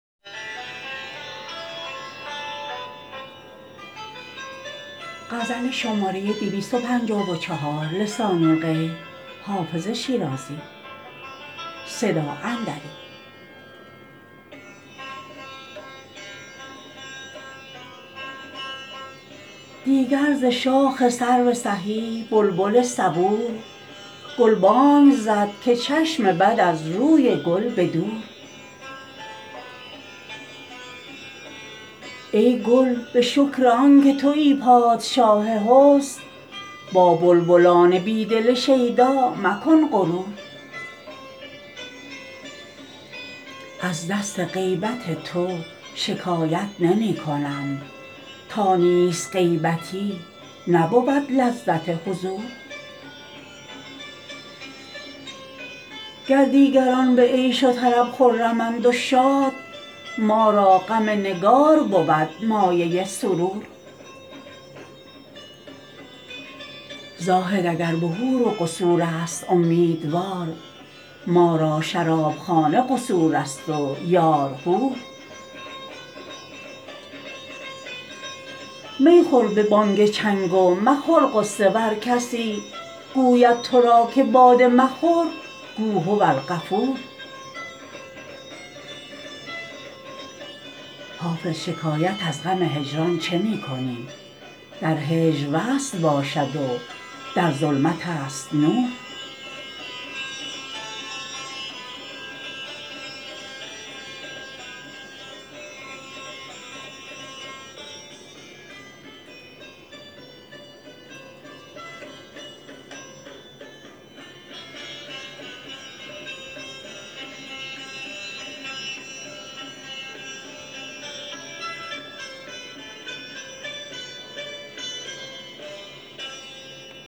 دیگر ز شاخ سرو سهی بلبل صبور گلبانگ زد که چشم بد از روی گل به دور ای گل به شکر آن که تویی پادشاه حسن با بلبلان بی دل شیدا مکن غرور از دست غیبت تو شکایت نمی کنم تا نیست غیبتی نبود لذت حضور گر دیگران به عیش و طرب خرمند و شاد ما را غم نگار بود مایه سرور زاهد اگر به حور و قصور است امیدوار ما را شرابخانه قصور است و یار حور می خور به بانگ چنگ و مخور غصه ور کسی گوید تو را که باده مخور گو هوالغفور حافظ شکایت از غم هجران چه می کنی در هجر وصل باشد و در ظلمت است نور